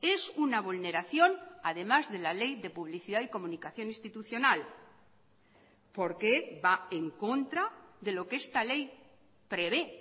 es una vulneración además de la ley de publicidad y comunicación institucional porque va en contra de lo que esta ley prevé